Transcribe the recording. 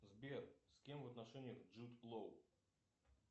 сбер с кем в отношениях джуд лоу